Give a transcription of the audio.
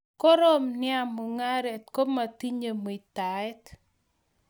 Korom nea mungaret kometinye muitaet